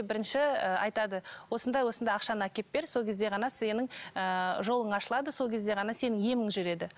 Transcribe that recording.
бірінші ы айтады осындай осындай ақшаны әкеліп бер сол кезде ғана сенің ыыы жолың ашылады сол кезде ғана сенің емің жүреді